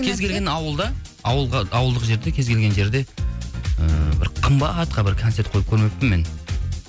кез келген ауылдық жерде кез келген жерде ііі бір қымбатқа бір концерт қойып көрмеппін мен